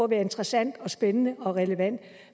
interessant og spændende og relevant